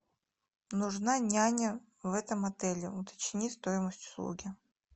нужна няня в этом отеле уточни стоимость услуги